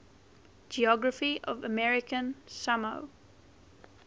geography of american samoa